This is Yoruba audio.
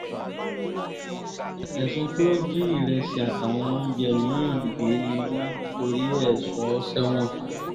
ẹ̀sùn pé ó jí ìrẹsì jí ìrẹsì àtàwọn oúnjẹ mí-ín gbé ni wọ́n torí ẹ̀ sọ ọ́ sẹ́wọ̀n